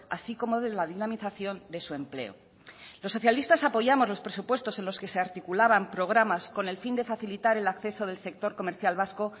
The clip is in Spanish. así como de la dinamización de su empleo los socialista apoyamos los presupuestos en los que se articulaban programas con el fin de facilitar el acceso del sector comercial vasco